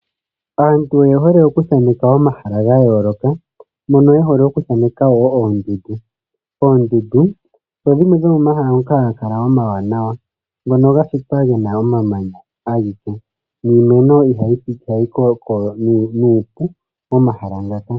Aantu oye hole oku thaneka omahala ga yooloka, mono ye hole oku thaneka wo oondundu. Oondundu odho dhimwe dhomomahala ngoka ha ga kala omawanawa ngono ga shitwa ge na omamanya ashike, niimeno ihayi koko nuupu momahala ngaka.